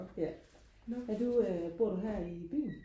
ja er du øh bor du her i byen